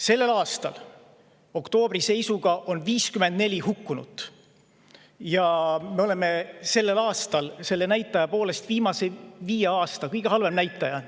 Selle aasta oktoobri seisuga on 54 hukkunut ja see näitaja on viimase viie aasta kõige halvem.